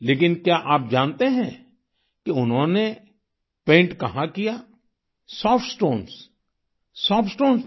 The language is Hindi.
लेकिन क्या आप जानते हैं कि उन्होंने पैंट कहाँ किया सॉफ्ट स्टोन्स सॉफ्ट स्टोन्स पर